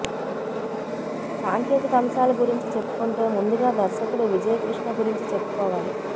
సాంకేతిక అంశాల గురించి చెప్పుకుంటే ముందుగా దర్శకుడు విజయ్ కృష్ణ గురించి చెప్పుకోవాలి